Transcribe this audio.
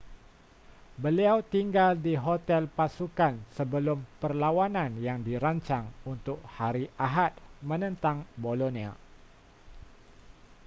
beliau tinggal di hotel pasukan sebelum perlawanan yang dirancang untuk hari ahad menentang bolonia